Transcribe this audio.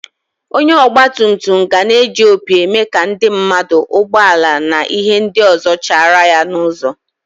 Onye ogba tum tum gana eji opi eme ka ndi mmadu, ụgbo ala na ihe ndi ọzọ chara ya n'ụzo.